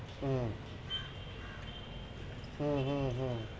ওহ হু হু হু